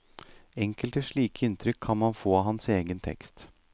Enkelte slike inntrykk kan man få av hans egen tekst.